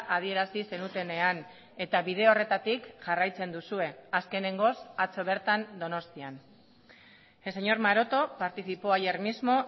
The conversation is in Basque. adierazi zenutenean eta bide horretatik jarraitzen duzue azkenengoz atzo bertan donostian el señor maroto participó ayer mismo